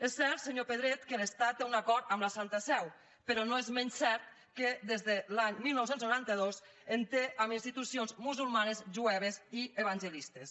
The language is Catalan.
és cert senyor pedret que l’estat té un acord amb la santa seu però no és menys cert que des de l’any dinou noranta dos en té amb institucions musulmanes jueves i evangelistes